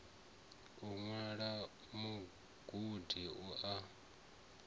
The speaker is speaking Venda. u ṅwala mugudi u a